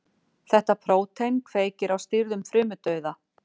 Þetta prótín kveikir á stýrðum frumudauða.